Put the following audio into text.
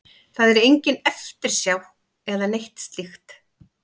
Það er engin eftirsjá eða neitt slíkt.